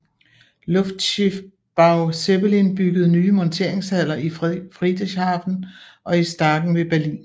Luftschiffbau Zeppelin byggede nye monteringshaller i Friedrichshafen og i Staaken ved Berlin